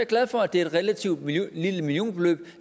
glad for at det er et relativt lille millionbeløb